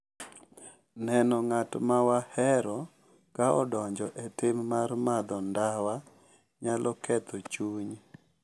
Neno ng’at ma wahero ka odonjo e tim mar madho ndawa nyalo ketho chuny,